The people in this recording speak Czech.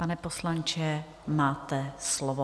Pane poslanče, máte slovo.